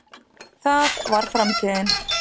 það var framtíðin.